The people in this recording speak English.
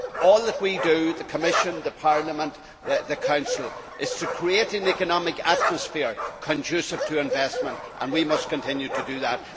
All that we in the Commission, Parliament and the Council do is to create an economic atmosphere conducive to investment, and we must continue to do that.